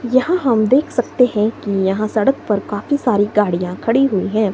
यहां हम देख सकते हैं कि यहां सड़क पर काफी सारी गाड़ियां खड़ी हुई है।